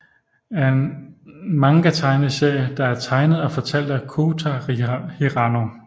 er en manga tegneserie der er tegnet og fortalt af Kouta Hirano